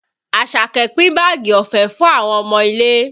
Àṣàkẹ́ pin báàgì ọ̀fẹ́ fún àwọn ọmọ ilé